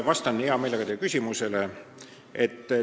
Vastan hea meelega teie küsimusele.